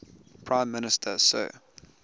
prime minister sir